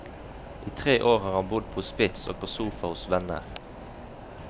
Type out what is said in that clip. I tre år har han bodd på hospits og på sofa hos venner.